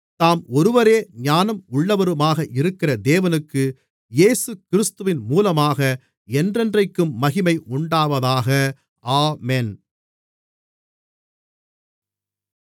தாம் ஒருவரே ஞானம் உள்ளவருமாக இருக்கிற தேவனுக்கு இயேசுகிறிஸ்துவின் மூலமாக என்றென்றைக்கும் மகிமை உண்டாவதாக ஆமென்